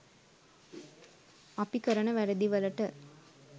අපි කරන වැරදි වලට